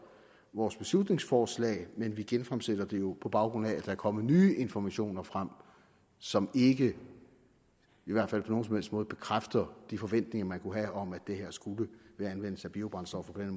vores beslutningsforslag men vi genfremsætter det jo på baggrund af at er kommet nye informationer frem som ikke i hvert fald på nogen som helst måde bekræfter de forventninger man kunne have om at det her ved anvendelse af biobrændstoffer